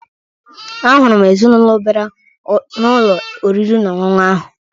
Ahụrụ m ezinụlọ bịara n'ụlọ oriri na ọṅụṅụ ahụ